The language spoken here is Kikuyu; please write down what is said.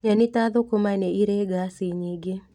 Nyeni ta thũkũma nĩ irĩ ngaci nyingĩ